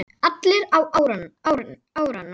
Allir á árarnar